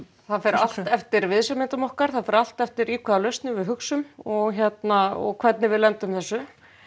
það fer allt eftir viðsemjendum okkar það fer allt eftir í hvaða lausnum við hugsum og og hvernig við lendum þessu